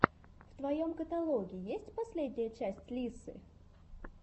в твоем каталоге есть последняя часть лиссы